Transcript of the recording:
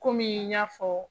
Komi n y'a fɔ